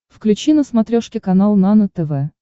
включи на смотрешке канал нано тв